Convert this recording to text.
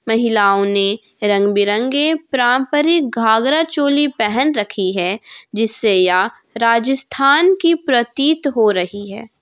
महिलाओं ने रंग बिरंगे पारंपरिक घाघरा चोली पहन रखी है जिससे यह राजस्थान की प्रतीत हो रही है।